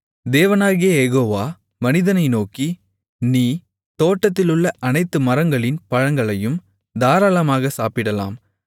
தேவனாகிய யெகோவா மனிதனை நோக்கி நீ தோட்டத்திலுள்ள அனைத்து மரங்களின் பழங்களையும் தாராளமாக சாப்பிடலாம்